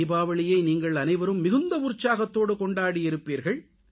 தீபாவளியை நீங்கள் அனைவரும் மிகுந்த உற்சாகத்தோடு கொண்டாடியிருப்பீர்கள்